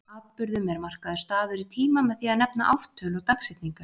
Atburðum er markaður staður í tíma með því að nefna ártöl og dagsetningar.